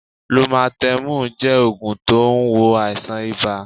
Lúmátémù jẹ́ ògùn tó n wo àìsàn ibà